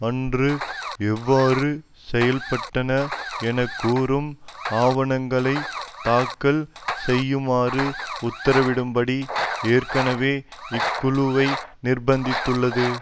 அன்று எவ்வாறு செயல்பட்டன என கூறும் ஆவணங்களைத் தாக்கல் செய்யுமாறு உத்தரவிடும்படி ஏற்கனவே இக்குழுவை நிர்ப்பந்தித்துள்ளது